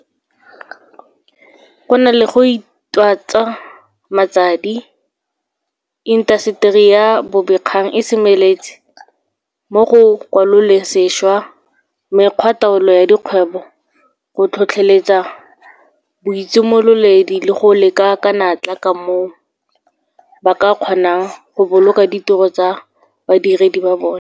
Go na le go itatswa matsadi, intaseteri ya bobegakgang e semeletse mo go kwaloleng sešwa mekgwataolo ya dikgwebo, go tlhotlheletsa boitshimololedi le go leka ka natla ka moo ba ka kgonang go boloka ditiro tsa badiredi ba bona.